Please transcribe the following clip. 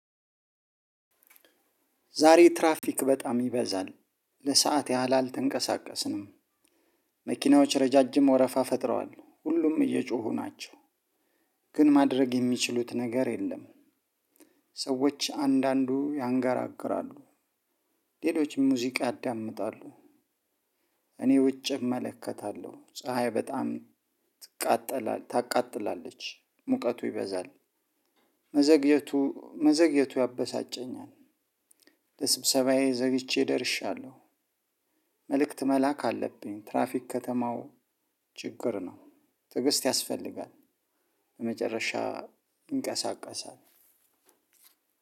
ዛሬ ትራፊክ በጣም ይበዛል። ለሰአት ያህል አልተንቀሳቀስንም። መኪናዎች ረዣዥም ወረፋ ፈጥረዋል፣ ሁሉም እየጮሁ ናቸው። ግን ማድረግ የሚችሉት ነገር የለም። ሰዎች አንዳንዱ ያንጋግራሉ፣ ሌሎችም ሙዚቃ ያዳምጣሉ። እኔ ውጭ እመለከታለሁ፣ ፀሀይ በጣም ትቃጠላለ፣ ትቃጠላለች። ሙቀቱ ይበዛል። መዘግየቱ፣ መዘግየቱ ያበሳጨኛል። ለስብሰባዬ ዘግቼ ደርሻለሁ። መልእክት መላክ አለብኝ፣ ትራፊክ ከተማው ችግር ነው። ትዕግስት ያስፈልጋል። በመጨረሻ ይንቀሳቀሳል።